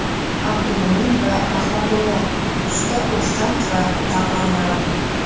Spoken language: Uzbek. Abdumo‘min va Rahmatullo, Usta O‘ktam va Davronlarim.